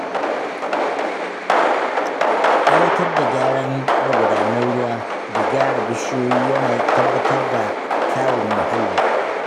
Aiwatar da gyaran magudanan ruwa da gyara bishiyu yana tabbatar da kyawun mahalli.